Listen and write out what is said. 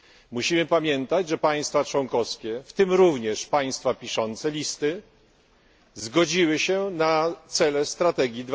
Musimy pamiętać, że państwa członkowskie, w tym również państwa piszące listy, zgodziły się na cele strategii